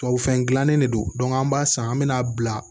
Tubabu fɛn gilannen de don an b'a san an bɛ na bila